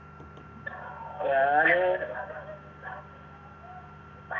ഞാന്